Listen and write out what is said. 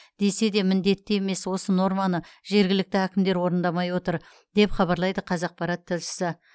десе де міндетті емес осы норманы жергілікті әкімдер орындамай отыр деп хабарлайды қазақпарат тілшісі